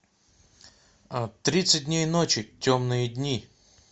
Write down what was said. тридцать дней ночи темные дни